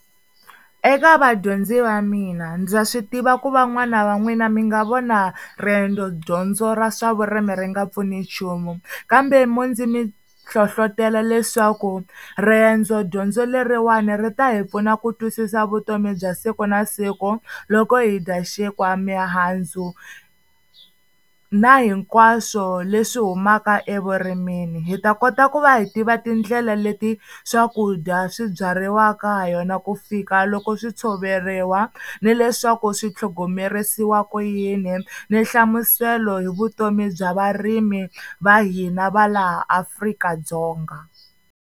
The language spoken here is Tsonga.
Eka vadyondzi va mina ndza swi tiva ku van'wana va n'wina mi nga vona riendzo dyondzo ra swa vurimi ri nga pfuni nchumu kambe mo ndzi mi hlohlotelo leswaku riendzo dyondzo leriwani ri ta hi pfuna ku twisisa vutomi bya siku na siku loko hi dya xinkwa, mihandzu na hinkwaswo leswi humaka evurimini, hi ta kota ku va hi tiva tindlela leti swakudya swi byariwaka ha yona ku fika loko swi tshoveriwa ni leswaku swi tlhogomerisiwa ku yini ni nhlamuselo hi vutomi bya varimi va hina va laha Afrika-Dzonga.